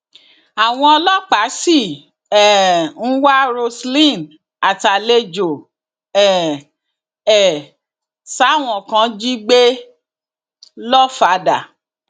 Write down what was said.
àwọn ọlọpàá sì um ń wá roselyn àtàlejò um ẹ táwọn kan jí gbé lọfàdà